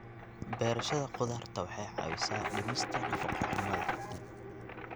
Beerashada khudaarta waxay caawisaa dhimista nafaqo-xumada.